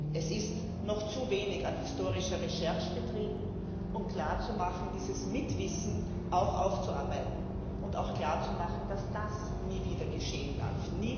Es ist noch zu wenig an historischer Recherche betrieben worden, um dieses Mitwissen aufzuarbeiten und auch klar zu machen, dass das nie wieder geschehen darf.